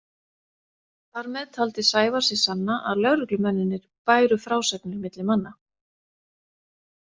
Þar með taldi Sævar sig sanna að lögreglumennirnir bæru frásagnir milli manna.